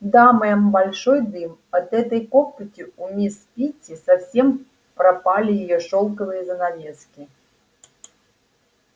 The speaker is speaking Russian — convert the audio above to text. да мэм большой дым от этой копоти у мисс питти совсем пропали её шелковые занавески